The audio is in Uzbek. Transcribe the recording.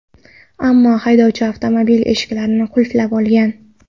Ammo haydovchi avtomobil eshiklarini qulflab olgan.